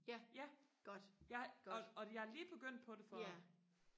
ja jeg og og jeg er lige begyndt på det for